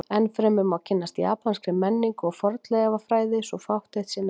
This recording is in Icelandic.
Enn fremur má kynnast japanskri menningu og fornleifafræði svo fátt eitt sé nefnt.